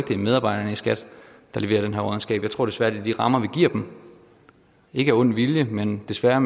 det er medarbejderne i skat der leverer den her råddenskab jeg tror desværre det er de rammer vi giver dem ikke af ond vilje men desværre